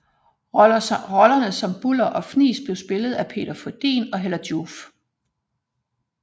Rollerne som Buller og Fnis blev spillet af Peter Frödin og Hella Joof